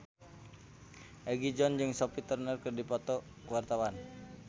Egi John jeung Sophie Turner keur dipoto ku wartawan